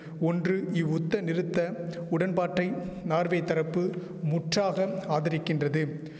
ஒன்று இவ்வுத்தநிறுத்த உடன்பாட்டை நார்வே தரப்பு முற்றாக ஆதரிக்கின்றது